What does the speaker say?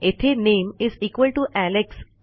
येथे नामे एलेक्स